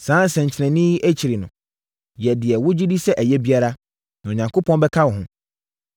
Saa nsɛnkyerɛnneɛ yi akyi no, yɛ deɛ wogye di sɛ ɛyɛ biara, na Onyankopɔn bɛka wo ho.